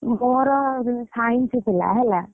ମୋର Science ଥିଲା ହେଲା।